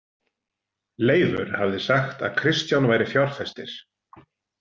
Leifur hafði sagt að Kristján væri fjárfestir.